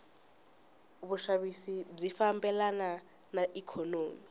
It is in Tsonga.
vushavisi bwifambelana naiknonomi